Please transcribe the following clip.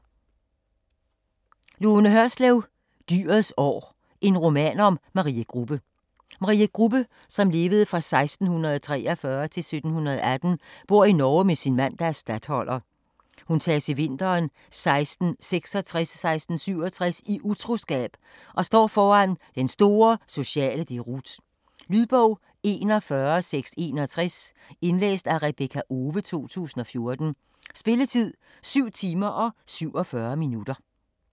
Hørslev, Lone: Dyrets år: en roman om Marie Grubbe Marie Grubbe (1643-1718) bor i Norge med sin mand, der er statholder. Hun tages i vinteren 1666-1667 i utroskab og står foran den store sociale deroute. Lydbog 41661 Indlæst af Rebekka Owe, 2014. Spilletid: 7 timer, 47 minutter.